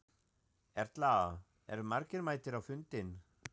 Erla, eru margir mættir á fundinn?